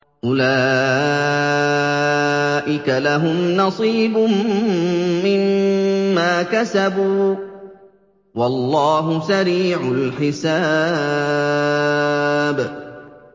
أُولَٰئِكَ لَهُمْ نَصِيبٌ مِّمَّا كَسَبُوا ۚ وَاللَّهُ سَرِيعُ الْحِسَابِ